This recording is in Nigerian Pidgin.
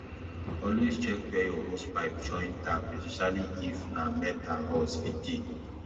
always check where your hosepipe join tap especially if na metalrust fit dey